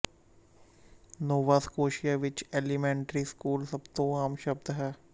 ਨੋਵਾ Scotia ਵਿੱਚ elementary school ਸਭ ਤੋਂ ਆਮ ਸ਼ਬਦ ਹੈ